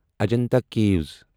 Ajanta کیٖوس